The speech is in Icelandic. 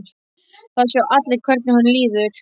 Það sjá allir hvernig honum líður.